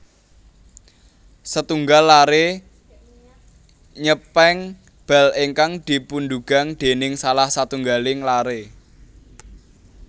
Setunggal laré nyèpeng bal ingkang dipundugang déning salah satunggaling laré